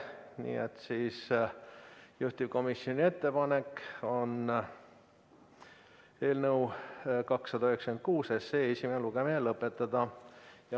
Nii et juhtivkomisjoni ettepanek on eelnõu 296 esimene lugemine lõpetada.